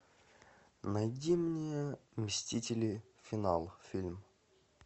найди мне мстители финал фильм